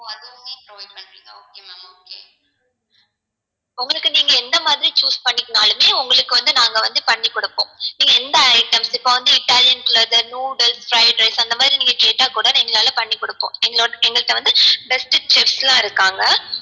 உங்களுக்கு நீங்க எந்த மாதிரி choose பண்ணிக்கிட்டாலுமே உங்களுக்கு வந்து நாங்க வந்து பண்ணிக்குடுப்போம் நீங்க எந்த items இப்போ வந்து italians noodles fried rice அந்த மாதிரி நீங்க கேட்டா கூட பண்ணி குடுப்போம் எங்கள்ட்ட வந்து best chef லாம் இருக்காங்க